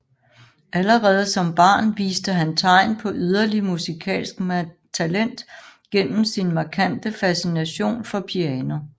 Allerede som barn viste han tegn på yderlig musikalsk talent gennem sin markante fascination for piano